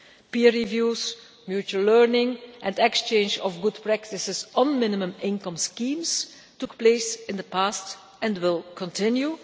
Peer reviews, mutual learning and exchange of good practices on minimum income schemes took place in the past and will continue.